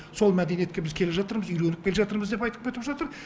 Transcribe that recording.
сол мәдениетке біз келе жатырмыз үйреніп келе жатырмыз деп айтып кетіп жатыр